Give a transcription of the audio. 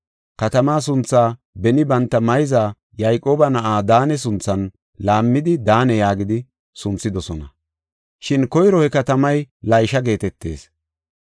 Katamaa sunthaa beni banta mayza Yayqooba na7aa Daane sunthan laammidi, Daane yaagidi sunthidosona; shin koyro he katamay Laysha geetetees.